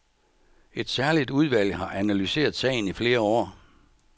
Et særligt udvalg har analyseret sagen i flere år.